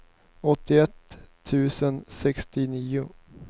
åttioett tusen sextionio